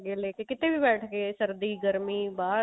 ਲੈਕੇ ਕਿਤੇ ਵੀ ਬੈਠ ਕੇ ਸਰਦੀ ਗਰਮੀ ਬਾਹਰ